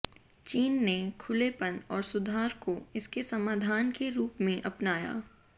चीन ने खुलेपन और सुधार को इसके समाधान के रूप में अपनाया